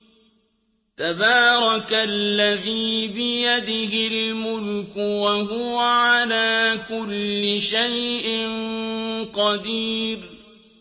تَبَارَكَ الَّذِي بِيَدِهِ الْمُلْكُ وَهُوَ عَلَىٰ كُلِّ شَيْءٍ قَدِيرٌ